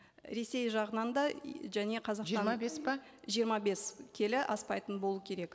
ресей жағынан да және жиырма бес пе жиырма бес келі аспайтын болу керек